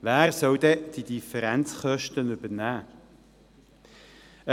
Wer soll die Differenzkosten übernehmen?